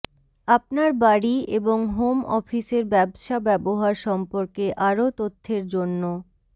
আপনার বাড়ি এবং হোম অফিসের ব্যবসা ব্যবহার সম্পর্কে আরও তথ্যের জন্য